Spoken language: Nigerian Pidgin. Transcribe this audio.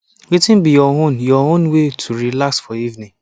wetin be your own your own way to relax for evening